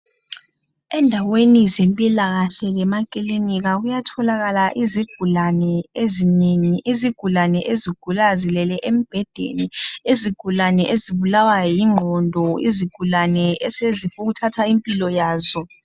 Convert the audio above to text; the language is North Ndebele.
Endaweni zempilakahle lemakilinika kuyatholakala izigulane ezinengi, izigulane ezigula zilele embhedeni, izigulane ezibulawa yingqondo, izigulane esezifuna ukuthatha impilo yazo.